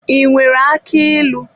I nwere aki ilu?